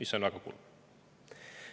See on väga kurb.